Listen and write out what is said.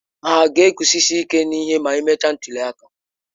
Hà ga-eguzosi ike n'ihe ma emechaa ntuli aka?